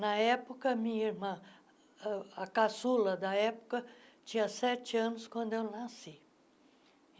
Na época, a minha irmã, âh a caçula da época, tinha sete anos quando eu nasci.